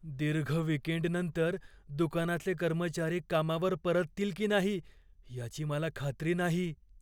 दीर्घ वीकेंडनंतर दुकानाचे कर्मचारी कामावर परततील की नाही याची मला खात्री नाही.